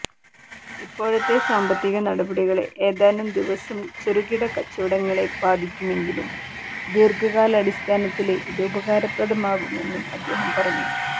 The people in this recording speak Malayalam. ഇപ്പോഴത്തെ സാമ്പത്തിക നടപടികള് ഏതാനും ദിവസം ചെറുകിട കച്ചവടങ്ങളെ ബാധിക്കുമെങ്കിലും ദീര്ഘകാലാടിസ്ഥാനത്തില് ഇത് ഉപകാരപ്രദമാകുമെന്നും അദ്ദേഹം പറഞ്ഞു